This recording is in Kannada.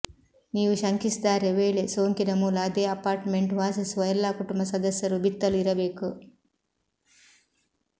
ನೀವು ಶಂಕಿಸಿದ್ದಾರೆ ವೇಳೆ ಸೋಂಕಿನ ಮೂಲ ಅದೇ ಅಪಾರ್ಟ್ಮೆಂಟ್ ವಾಸಿಸುವ ಎಲ್ಲಾ ಕುಟುಂಬ ಸದಸ್ಯರು ಬಿತ್ತಲು ಇರಬೇಕು